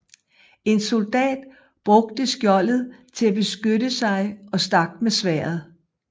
En soldat brugte skjoldet til at beskytte sig og stak med sværdet